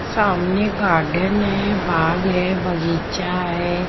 सामने गार्डन है बाग है बगीचा है।